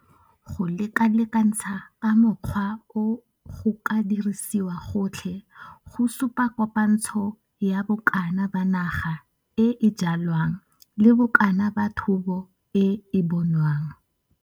Go lekalekantsha ka mokgwa o go ka dirisiwa gotlhe go supa kopantsho ya bokana ba naga e e jwalwang le bokana ba thobo e e bonwang.